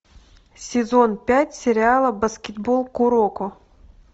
сезон пять сериала баскетбол куроко